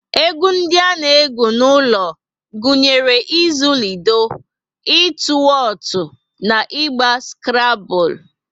Egwu ndi a na egwu n'ulo gụnyere izu lido, ịtụ wotu na ịgba skrable